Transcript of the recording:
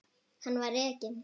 Hann var rekinn.